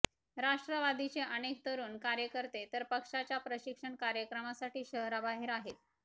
राष्ट्रवादीचे अनेक तरुण कार्यकर्ते तर पक्षाच्या प्रशिक्षण कार्यक्रमासाठी शहराबाहेर आहेत